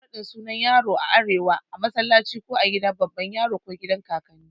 Ana ƴin raɗin sunna na yaro a arewa a massalaci ko gidan baban yaro ko agidan kakanni.